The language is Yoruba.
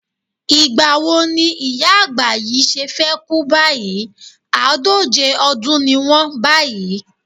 Ìgbà wo ni ìyá àgbà yìí ṣe fẹ́ kú báyìí, àádóje ọdún ni wọ́n báyìí?